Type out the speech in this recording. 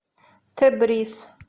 тебриз